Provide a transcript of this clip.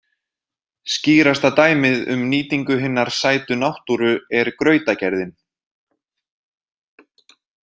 Skýrasta dæmið um nýtingu hinnar sætu náttúru er grautagerðin.